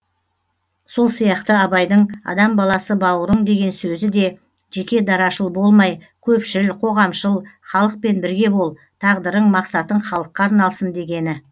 сол сияқты абайдың адам баласы бауырың деген сөзі де жеке дарашыл болмай көпшіл қоғамшыл халықпен бірге бол тағдырың мақсатың халыққа арналсын дегені